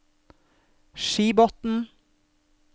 Skibotn